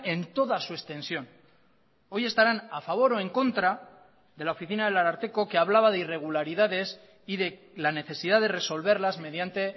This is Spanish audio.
en toda su extensión hoy estarán a favor o en contra de la oficina del ararteko que hablaba de irregularidades y de la necesidad de resolverlas mediante